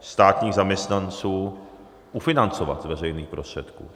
státních zaměstnanců ufinancovat z veřejných prostředků.